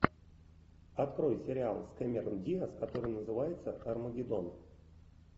открой сериал с кэмерон диаз который называется армагеддон